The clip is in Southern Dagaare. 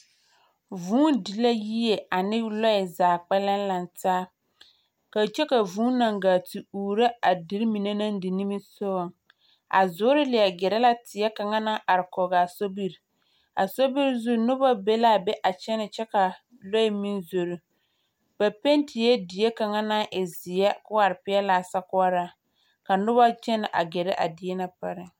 Vũũ di la yie ane lɔɛzaa kpɛllɛŋ laŋ taa kyɔ ka vũũna gaa te uuro a deri mine naŋ di nimisoŋ a zoore leɛ gɛrɛ la teɛ kaŋa naŋ ae kɔge a sobiri. A sobiri zuŋ noba be la a be a kyɛnɛ kyɛ ka lɔɛ meŋ zoro. Ba petie die kaŋa naŋ e zeɛ ka o are kɔge a sokoɔraa, ka noba kyɛnɛ a gɛrɛ a die na pareŋ.